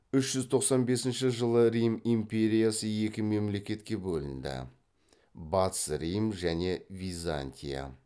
үш жүз тоқсан бесінші жылы рим империясы екі мемлекетке бөлінді батыс рим және византия